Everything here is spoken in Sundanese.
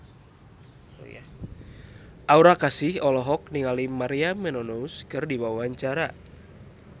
Aura Kasih olohok ningali Maria Menounos keur diwawancara